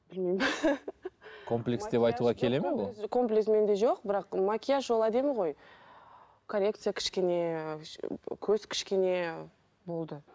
білмеймін комплекс деп айтуға келеді ме ол комплекс менде жоқ бірақ макияж ол әдемі ғой коррекция кішкене көз кішкене болды